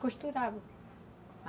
Costurava.